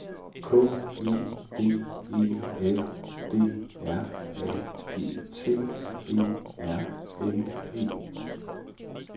K E D E L D R A G T E R N E